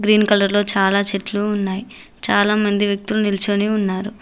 Green colour లో చాలా చెట్లు ఉన్నాయి చాలా మంది వ్యక్తులు నిల్చొని ఉన్నారు.